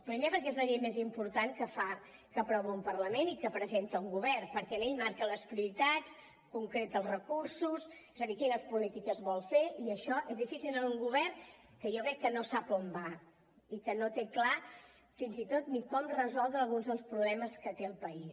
primer perquè és la llei més important que fa que aprova un parlament i que presenta un govern perquè hi marca les prioritats concreta els recursos és a dir quines polítiques vol fer i això és difícil en un govern que jo crec que no sap on va i que no té clar fins i tot ni com resoldre alguns dels problemes que té el país